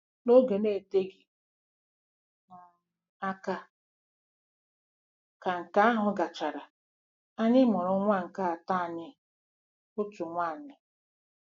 N'oge na-eteghị um aka ka nke ahụ gachara, anyị mụrụ nwa nke atọ anyị, otu nwanyị.